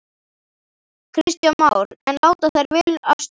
Kristján Már: En láta þær vel af stjórn?